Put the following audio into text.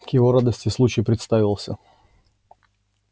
к его радости случай представился